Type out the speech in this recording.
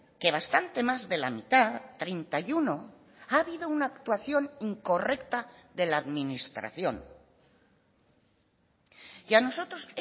que bastante más de la mitad treinta y uno ha habido una actuación incorrecta de la administración y a nosotros